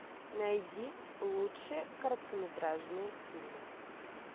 найди лучшие короткометражные фильмы